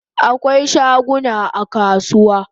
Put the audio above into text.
Akwai shaguna a kasuwa